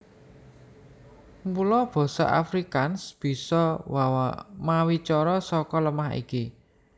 Mula basa Afrikaans bisa mawicara saka lemah iki